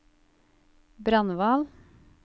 Brandval